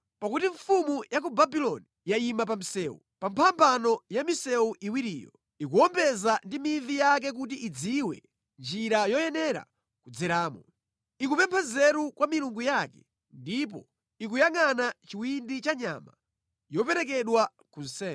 Pakuti mfumu ya ku Babuloni yayima pa msewu, pa mphambano ya misewu iwiriyo. Ikuwombeza ndi mivi yake kuti idziwe njira yoyenera kudzeramo. Ikupempha nzeru kwa milungu yake ndipo ikuyangʼana chiwindi cha nyama yoperekedwa ku nsembe.